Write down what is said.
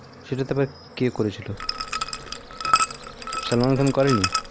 সেটাতে আবার কে করেছিল সালমান খান করেনি